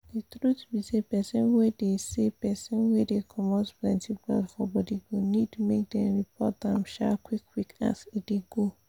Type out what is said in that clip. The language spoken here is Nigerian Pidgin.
the truth be saypersin wey dey saypersin wey dey comot plenty blood for body go need make dem report am um qik qik as e dey go